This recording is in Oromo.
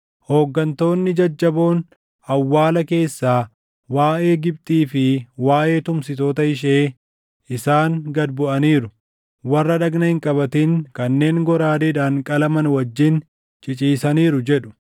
Hooggantoonni jajjaboon awwaala keessaa waaʼee Gibxii fi waaʼee tumsitoota ishee, ‘Isaan gad buʼaniiru; warra dhagna hin qabatin kanneen goraadeedhaan qalaman wajjin ciciisaniiru’ jedhu.